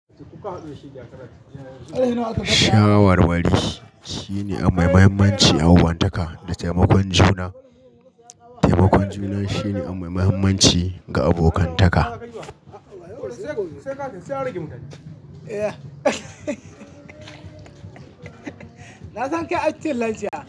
Shawarwari shine abu mai muhimmanci a ƴanuwantaka da taimakon juna. Taimakon juna shine ammai muhimmanci ga abokantaka. Na san kai ac cikin lancia.